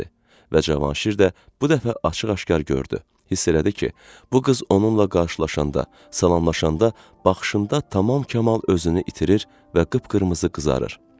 Və Cavanşir də bu dəfə açıq-aşkar gördü, hiss elədi ki, bu qız onunla qarşılaşanda, salamlaşanda baxışında tamam Kamal özünü itirir və qıpqırmızı qızarır.